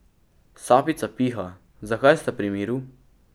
Sapica piha, zakaj sta pri miru?